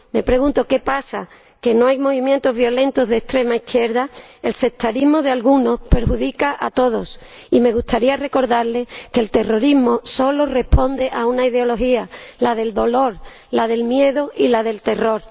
Me pregunto ¿qué pasa, que no hay movimientos violentos de extrema izquierda? El sectarismo de algunos perjudica a todos y me gustaría recordarles que el terrorismo solo responde a una ideología, la del dolor, la del miedo y la del terror.